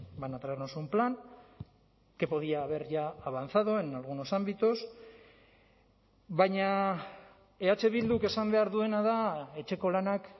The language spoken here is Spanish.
van a traernos un plan que podía haber ya avanzado en algunos ámbitos baina eh bilduk esan behar duena da etxeko lanak